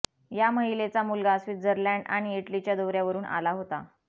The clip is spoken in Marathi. या महिलेचा मुलगा स्वित्झरलॅंड आणि इटलीच्या दौऱ्यावरुन आला होता